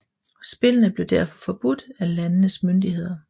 Spillene blev derfor forbudt af landenes myndighederne